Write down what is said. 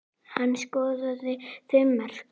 Hann skoraði fimm mörk.